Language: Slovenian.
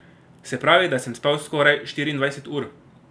Se pravi, da sem spal skoraj štiriindvajset ur.